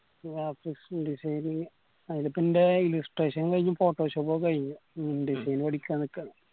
graphics designing അയിലത്ത് ഇണ്ടായേ illustration കയിഞ്ഞു photoshop കയിഞ് indesign പഠിക്കാൻ നിക്കാന്ന്